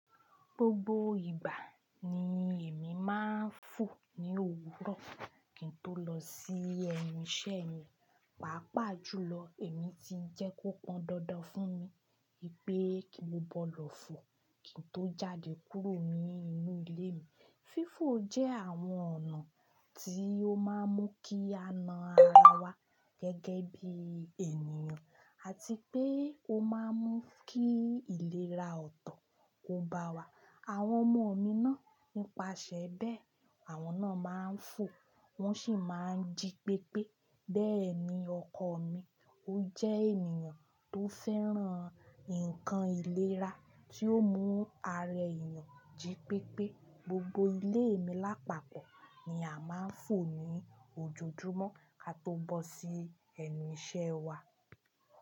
Gbogbo ìgbà ni èmi máa ń fò ní òwúrọ̀ kí n tó lọ sí ẹnu iṣẹ́ mi. Pàápàá jùlọ èmi ti jẹ́ kó pọn dandan fún mi pé kí mo bọ́ lọ fò kí n tó jáde kúrò nínú ilé mi. Fífò jẹ́ àwọn ọ̀nà tí ó máa ń mú kí a na ara wa gẹ́gẹ́ bí ènìyàn àti pé ó máa ń mú kí ìlera ọ̀tọ̀ kó bá wa. Àwọn ọmọ mi náà nipase bẹ́ẹ̀, àwọn náà máa ń fò, wọ́n sì máa ń jí pépé. Bẹ́ẹ̀ni ọkọ mi. Ó jẹ́ ènìyàn tó fẹ́ràn nǹkan ìlera tí ó mú ara èèyàn jí pépé. Gbogbo ilé mi lápapọ̀ ni a máa ń fò ní ojojúmọ́ kí a tó bọ́ sí ẹnu iṣẹ́ wa.